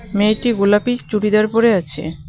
মেয়েটি গোলাপি চুড়িদার পড়ে আছে .